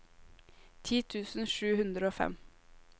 ti tusen sju hundre og fem